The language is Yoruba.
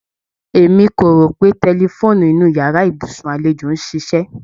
E mí ko rò pé tẹlifóònù inu yàrá ibùsùn àlejò n ṣíṣe